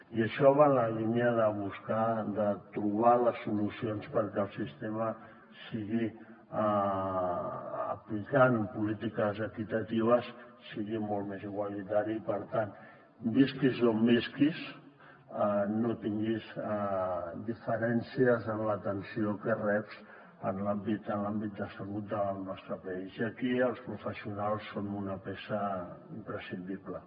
i això va en la línia de trobar les solucions perquè el sistema sigui aplicant polítiques equitatives molt més igualitari i per tant visquis on visquis no tinguis diferències en l’atenció que reps en l’àmbit de salut del nostre país i aquí els professionals són una peça imprescindible